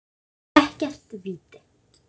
Ekkert víti.